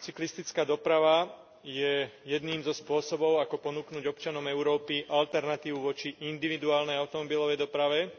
Cyklistická doprava je jedným zo spôsobov ako ponúknuť občanom Európy alternatívu voči individuálnej automobilovej doprave